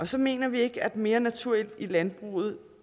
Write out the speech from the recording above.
så mener vi ikke at mere natur i landbruget